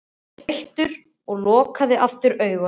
Hann var þreyttur og lokaði aftur augunum.